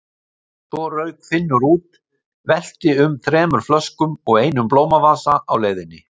Svo rauk Finnur út, velti um þremur flöskum og einum blómavasa á leiðinni.